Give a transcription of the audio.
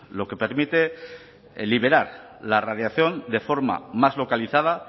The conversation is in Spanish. lo que permite liberar la radiación de forma más localizada